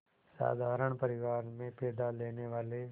साधारण परिवार में पैदा लेने वाले